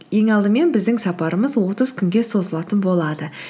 ең алдымен біздің сапарымыз отыз күнге созылатын болады